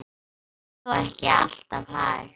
Þetta var þó ekki alltaf hægt.